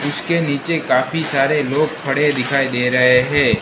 इसके नीचे काफी सारे लोग खड़े दिखाई दे रहे है।